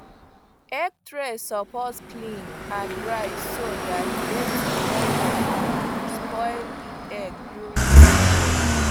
egg tray suppose clean and dry so that dirt no go um spoil the egg during storage